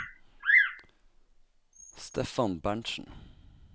Steffan Berentsen